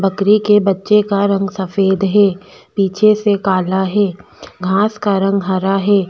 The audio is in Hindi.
बकरी के बच्चे का रंग सफ़ेद है पीछे से काला है घास का रंग हरा है।